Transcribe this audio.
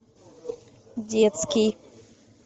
детский